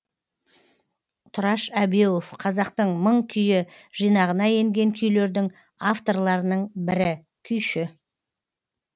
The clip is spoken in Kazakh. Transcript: тұраш әбеуов қазақтың мың күйі жинағына енген күйлердің авторларының бірі күйші